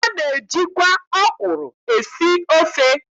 A na-ejikwa ọkwụrụ esi ofe.